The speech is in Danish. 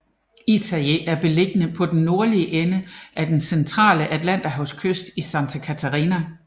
Itajaí er beliggende på den nordlige ende af den centrale atlanterhavskyst i Santa Catarina